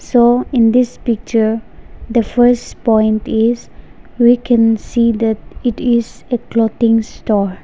so in this picture the first point is we can see that it is a clothing store.